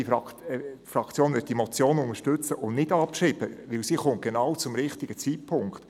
Die EVP-Fraktion wird diese Motion unterstützen und nicht abschreiben, denn sie kommt genau zum richtigen Zeitpunkt.